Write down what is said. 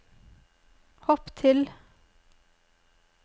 hopp til